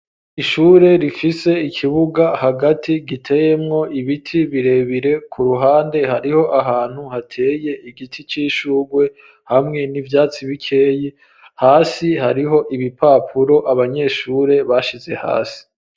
Ishure rifise ikibuga hagati giteyemwo ibiti birebire ku ruhande hariho ahantu hateye igiti c'ishugwe, hamwe n'ivyatsi bikeyi, hasi hariho ibipapuro abanyeshure bashize hasi.